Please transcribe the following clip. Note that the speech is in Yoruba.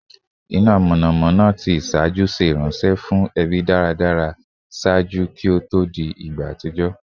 ina mọnamọna ti iṣaaju ṣe iranṣẹ fun ẹbi daradara ṣaaju ki o to di igba atijọ